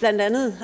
blandt andet